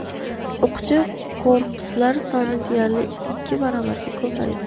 O‘qchi korpuslar soni deyarli ikki baravarga ko‘paydi.